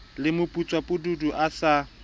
le moputswa pududu a sa